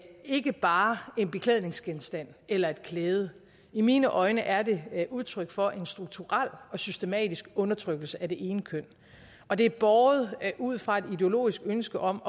ikke bare en beklædningsgenstand eller et klæde i mine øjne er det udtryk for en strukturel og systematisk undertrykkelse af det ene køn og det er båret ud fra et ideologisk ønske om